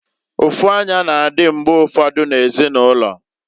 Ụfụanya na-adị mgbe ụfọdụ na ezinụlọ.